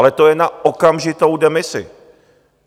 Ale to je na okamžitou demisi.